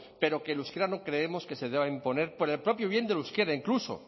pero que el euskera no creemos que se deba imponer por el propio bien del euskera incluso